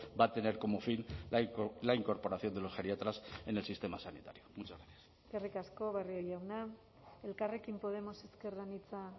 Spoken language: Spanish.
va a tener como fin la incorporación de los geriatras en el sistema sanitario muchas gracias eskerrik asko barrio jauna elkarrekin podemos ezker anitza